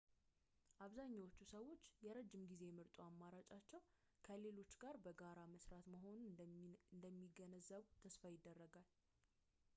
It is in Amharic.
አብዛኛዎቹ ሰዎች የረዥም ጊዜ ምርጡ አማራጫቸው ከሌሎች ጋር በጋራ መስራት መሆኑን እንደሚገነዘቡ ተስፋ ይደረጋል